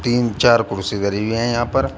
तीन चार कुर्सी धरी हुई है यहां पर--